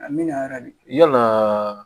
A mina di yala